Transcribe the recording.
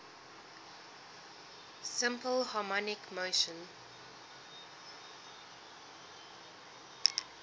simple harmonic motion